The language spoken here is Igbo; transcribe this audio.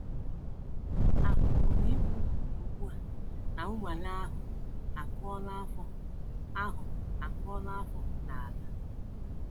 A pụrụ ikwu ugbu a na nnwale ahụ akụọla afọ ahụ akụọla afọ n’ala. ”